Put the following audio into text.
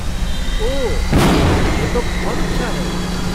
ओह, यह तो बहुत अच्छा है।